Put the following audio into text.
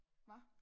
Hvad?